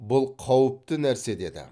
бұл қауіпті нәрсе деді